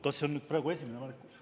Kas see on praegu esimene märkus?